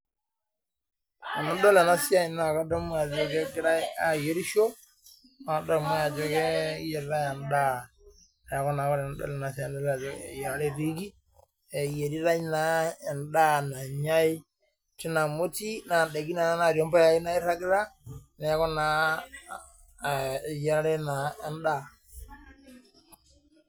Tinidol ena siai naadol ajo eyiarare naa etiiki amuu kadoolta emoti noonda nairagita tine, neeku tenadol naa eyiarare etiiki